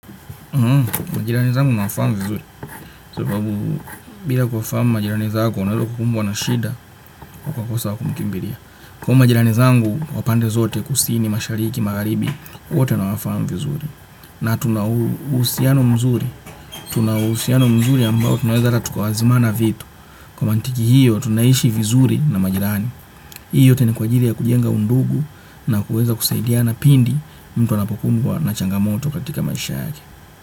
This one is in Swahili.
Majirani zangu nawafamu vizuri, sababu bila kufahamu majirani zako unalokumbwa na shida ukakosa wa kumkimbilia. Kwa hiyo majirani zangu wa pande zote kusini mashariki magaribi wote nawafahamu vizuri. Na tunauhusiano mzuri. Tunauhusiano mzuri ambao tunaweza hata tukaazimana vitu. Kwa mantiki hiyo tunaishi vizuri na majirani. Hii yote ni kwa ajili ya kujenga undugu na kuweza kusaidiana pindi mtu anapokumbwa na changamoto katika maisha yake.